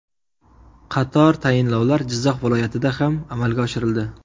Qator tayinlovlar Jizzax viloyatida ham amalga oshirildi.